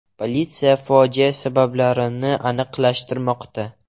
Politsiya fojia sabablarini aniqlashtirmoqda.